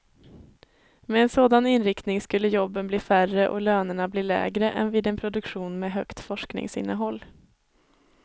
Med en sådan inriktning skulle jobben bli färre och lönerna bli lägre än vid en produktion med högt forskningsinnehåll.